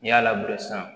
N'i y'a labila sisan